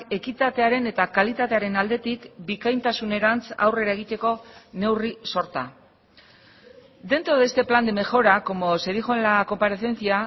ekitatearen eta kalitatearen aldetik bikaintasunerantz aurrera egiteko neurri sorta dentro de este plan de mejora como se dijo en la comparecencia